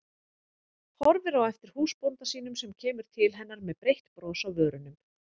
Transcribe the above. Horfir á eftir húsbónda sínum sem kemur til hennar með breitt bros á vörunum.